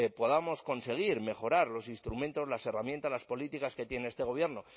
podamos conseguir mejorar los instrumentos las herramientas las políticas que tiene este gobierno